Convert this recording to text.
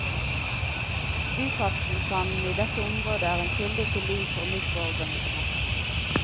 Dyphavsvulkanene i dette området er en kilde til liv for mikroorganismer.